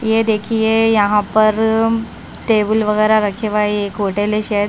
ये देखिए यहां पर टेबल वगैरह रखे हुए एक होटल है शायद--